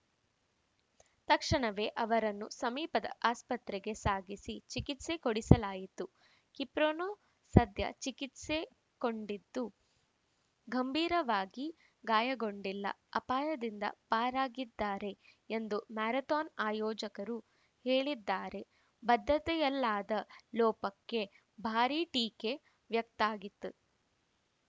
ತಕ್ಷಣವೇ ಅವರನ್ನು ಸಮೀಪದ ಆಸ್ಪತ್ರೆಗೆ ಸಾಗಿಸಿ ಚಿಕಿತ್ಸೆ ಕೊಡಿಸಲಾಯಿತು ಕಿಪ್ರೊನೋ ಸದ್ಯ ಚಿಕಿತ್ಸೆ ಕೊಟ್ಟಿದ್ದು ಗಂಭೀರವಾಗಿ ಗಾಯಗೊಂಡಿಲ್ಲ ಅಪಾಯದಿಂದ ಪಾರಾಗಿದ್ದಾರೆ ಎಂದು ಮ್ಯಾರಥಾನ್‌ ಆಯೋಜಕರು ಹೇಳಿದ್ದಾರೆ ಭದ್ರತೆಯಲ್ಲಾದ ಲೋಪಕ್ಕೆ ಭಾರೀ ಟೀಕೆ ವ್ಯಕ್ತಾಗಿದೆ